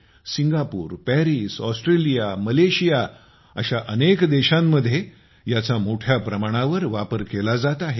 Singapore Paris Australia Malaysia अशा अनेक देशांमध्ये याचा मोठ्या प्रमाणावर वापर केला जात आहे